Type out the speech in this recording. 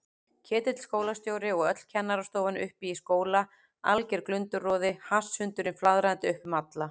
Ketill skólastjóri og öll kennarastofan uppi í skóla, alger glundroði, hasshundurinn flaðrandi upp um alla.